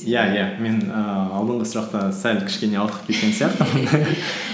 иә иә мен ііі алдынғы сұрақта сәл кішкене ауып кеткен сияқтымын